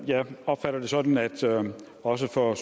jeg opfatter det sådan at også for